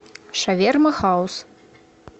шаверма хаус